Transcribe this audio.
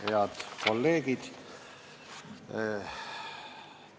Head kolleegid!